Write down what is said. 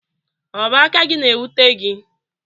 ọ bụ aka gị na-ewute gị